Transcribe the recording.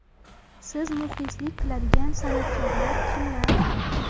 Siz muxlislik qiladigan san’atkorlar kimlar?